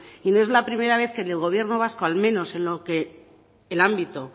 y no es la primera vez que en el gobierno vasco al menos en el ámbito